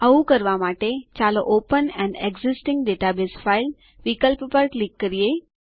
આવું કરવા માટે ચાલો open an existing database file વિકલ્પ પર ક્લિક કરીએ